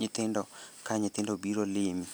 nyithindo ka nyithindo obiro limi.